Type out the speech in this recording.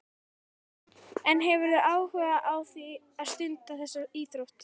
Hugrún: En hefurðu áhuga á að stunda þessa íþrótt?